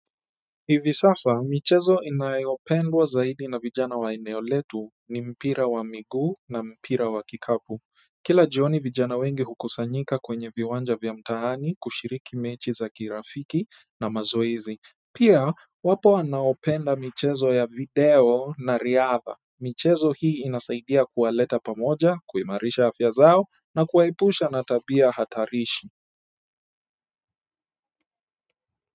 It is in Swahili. Hivi sasa michezo inayopendwa zaidi na vijana wa eneo letu ni mpira wa miguu na mpira wa kikapu kila jioni vijana wengi hukusanyika kwenye viwanja vya mtaani kushiriki mechi za kirafiki na mazoezi pia wapo wanaopenda michezo ya video na riadha michezo hii inasaidia kuwaleta pamoja kuimarisha afya zao na kuwaepusha na tabia hatarishi.